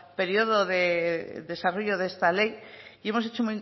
periodo de desarrollo de esta ley y hemos hecho